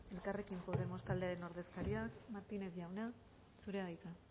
elkarrekin podemos taldearen ordezkaria martinez jauna zurea da hitza